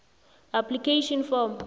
application form